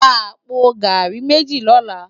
Rá àpó gàrí méji lòlá